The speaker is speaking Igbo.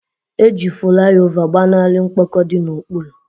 Eji fulaiova gbanarị mkpọkọ di n'okpuru.